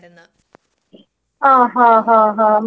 ആ ഹാ ഹാ ഹാ മനസ്സിലായി മനസ്സിലായി.